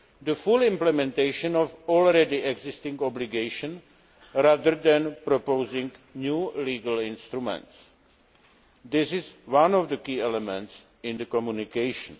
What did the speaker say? the full implementation of all existing obligations, rather than proposing new legal instruments. This is one of the key elements in the communication.